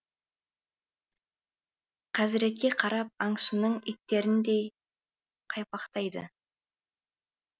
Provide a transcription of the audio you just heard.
қазіретке қарап аңшының иттеріндей қайпақтайды